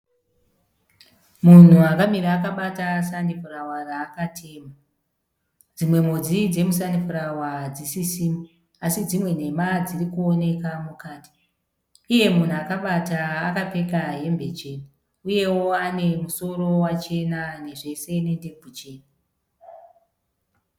Munhu akamira akabata sanifurawa raakatema. Dzimwe mhodzi dzemusanifurawa hadzisisimo. Asi dzimwe nhema dzirikuoneka mukati. Iye munhu akabata akapfeka hembe chena. Uyewo ane musoro wachena zvese nendebvu chena.